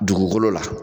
Dugukolo la